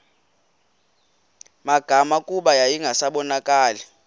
magama kuba yayingasabonakali